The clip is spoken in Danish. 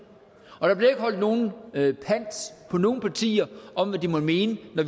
og der bliver ikke holdt nogen pant på nogen partier om hvad de måtte mene